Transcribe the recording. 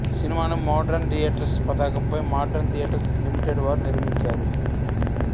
సినిమాను Modern Theatres పతాకంపై Modern Theatres Limited వారు నిర్మించారు